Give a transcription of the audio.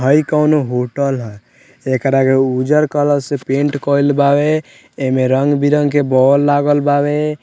हई कोनो होटल हई एकरा के उज्जर कलर से पेंट कईल बावे एमे रंग-बिरंग के बॉल लागल बावे।